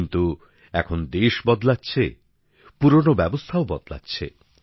কিন্তু এখন দেশ বদলাচ্ছে পুরনো ব্যবস্থাও বদলাচ্ছে